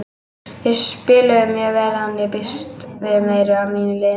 Þeir spiluðu mjög vel en ég býst við meiru af mínu liði.